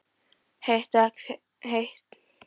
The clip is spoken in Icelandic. Heitt vatn fékkst með borun á Efri-Reykjum í